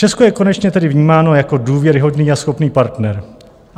Česko je konečně tedy vnímáno jako důvěryhodný a schopný partner.